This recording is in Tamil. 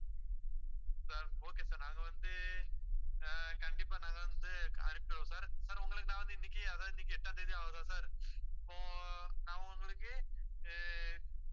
sir okay sir நாங்க வந்து, ஆஹ் கண்டிப்பா நாங்க வந்து அனுப்பிடுவோம் sir sir உங்களுக்கு நான் வந்து, இன்னைக்கு அதாவது இன்னைக்கு எட்டாம் தேதி ஆகுதா sir அப்போ நான் உங்களுக்கு ஆஹ்